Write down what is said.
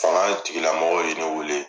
Fanga tigilamɔgɔw ye wele,